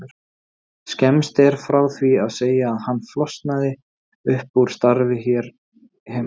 Skemmst er frá því að segja að hann flosnaði upp úr starfi hér heima.